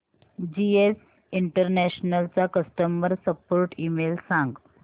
GS international चा customer support email सांग